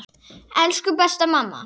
Elsku besta mamma.